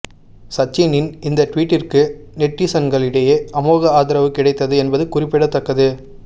சச்சினின் இந்த டுவீட்டிற்கு நெட்டிசன்களிடையே அமோக ஆதரவு கிடைத்தது என்பது குறிப்பிடத்தக்கது